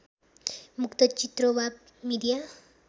मुक्त चित्र वा मिडिया